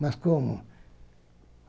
Mas como?